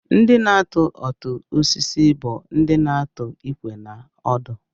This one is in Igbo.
Ndị na-atu ọtụ osisi bụ ndị na-atụ ikwe na ọdụ